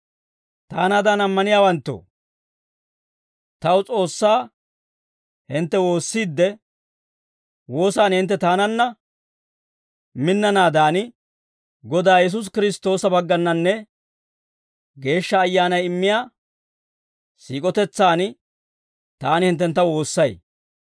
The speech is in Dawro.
Taanaadan ammaniyaawanttoo, taw S'oossaa hintte woossiidde, woosan hintte taananna minnanaadan, Godaa Yesuusi Kiristtoosa baggannanne Geeshsha Ayyaanay immiyaa siik'otetsan taani hinttentta woossay.